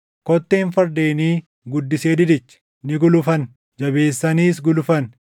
Kotteen fardeenii guddisee didiche; ni gulufan; jabeessaniis gulufan.